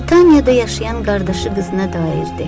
Netaniyada yaşayan qardaşı qızına dairdir.